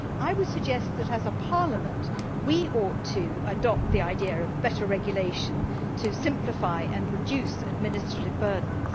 I would suggest that, as a Parliament, we ought to adopt the idea of better regulation to simplify and reduce administrative burdens.